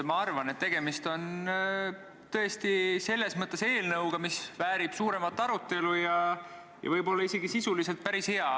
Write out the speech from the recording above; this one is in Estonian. Ma arvan, et tegemist on tõesti eelnõuga, mis väärib suuremat arutelu ja võib olla sisuliselt päris hea.